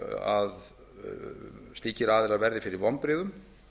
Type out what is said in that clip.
að slíkir aðilar verði fyrir vonbrigðum